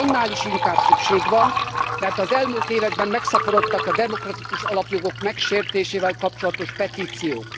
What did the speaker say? Erre annál is inkább szükség van, mert az elmúlt években megszaporodtak a demokratikus alapjogok megsértésével kapcsolatos petíciók.